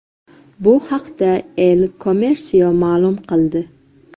Bu haqda El Comercio ma’lum qildi .